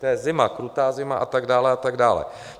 To je zima, krutá zima a tak dále, a tak dále.